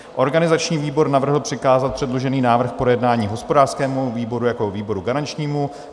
Organizační výbor navrhl přikázat předložený návrh k projednání hospodářskému výboru jako výboru garančnímu.